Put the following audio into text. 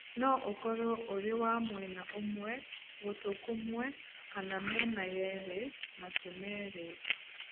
No ũkorũo ũrĩ wa mwena ũmwe (gũtũ kũmwe) kana mĩena yerĩ (matũ merĩ).